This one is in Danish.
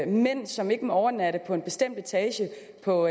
mænd som ikke må overnatte på en bestemt etage på